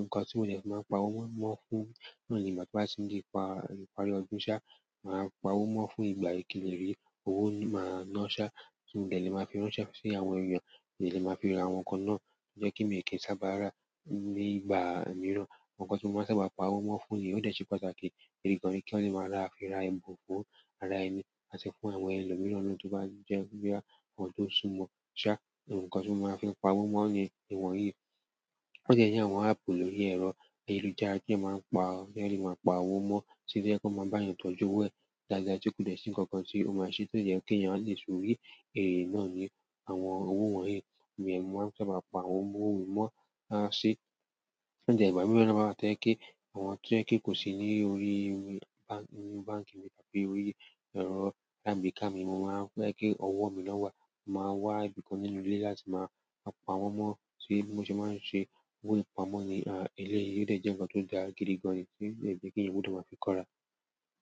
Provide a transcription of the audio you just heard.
nǹkan tí mò ní ẹ máa pa owó mọ́ fún ní ìgbà tí wá ti ń di ìparí ọdún sa, màá pa owó mọ́ fún ìgbà. Owó máa ń ná sá tí mò ní ẹ máa fi ránṣẹ́ sí àwọn èèyàn, ní ẹ lè máa fi ra àwọn nǹkan náà tí ó jẹ́ kí èmi kì í sábà rà ní ìgbà mìíràn. Nǹkan tí mò máa sábà pa owó mọ́ fún ní, ó jẹ́ ṣe pàtàkì, ẹ̀rí gan-an kí ó lè máa ràá fi ra ẹbùn fún ara ẹni àti fún àwọn ẹlòmíràn tó bá jẹ́ bí i àwọn tó súnmọ́. Ṣà, nǹkan tí mò máa ń fi pa owó mọ́ ní ìwọ̀n yìí ó jẹ́ iṣẹ́ àwọn áàpù lórí ẹ̀rọ ayélujára tí a máa ń pa, tí ẹ lè máa pa owó mọ́ ṣe jẹ́ kó máa bá èèyàn tọ́jú owo ẹ̀ dáadáa tí kò dẹ́ṣi kankan tí ó máa ṣe tó jẹ́ kí èèyàn lè èyí náà ni àwọn owó wọ̀nyí. Bẹ́ẹ̀ ni mò máa ń sábà pa owó mọ́. Tí ìgbà mìíràn bá wá tó ń kí àwọn tó ń kí kò sí ní orí inú báǹkì mi tàbí orí ẹ̀rọ láì bí i ká mi, mò máa wá kí ọwọ́ mi lọ́wọ́ wa, màá wá ibìkan nínú ilé láti máa pa owó mọ́ ṣé mo ṣe máa ń ṣe owó ìpamọ́ ni eléyìí, ó lè jẹ́ nǹkan tó dáa gidi gan-an tí lè jẹ́ kí ẹ̀yàn gbódò máa fi kóra.